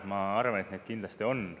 Ma arvan, et neid kindlasti on.